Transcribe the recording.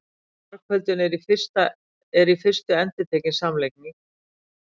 margföldun er í fyrstu endurtekin samlagning